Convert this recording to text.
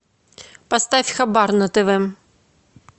поставь хабар на тв